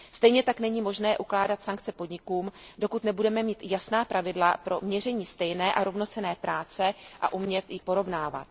Stejně tak není možné ukládat sankce podnikům, dokud nebudeme mít jasná pravidla pro měření stejné a rovnocenné práce a umět ji porovnávat.